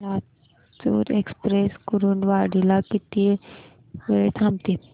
Latur express Kurduwadi ला किती वेळ थांबते